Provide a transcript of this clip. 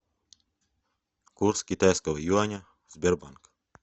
курс китайского юаня сбербанк